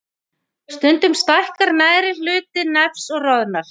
Stundum stækkar neðri hluti nefs og roðnar.